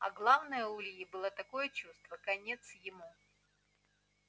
а главное у ильи было такое чувство конец ему